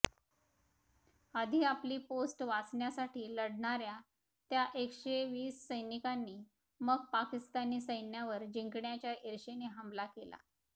आधी आपली पोस्ट वाचवण्यासाठी लढणाऱ्या त्या एकशेवीस सैनिकांनी मग पाकिस्तानी सैन्यावर जिंकण्याच्या इर्षेने हमला केला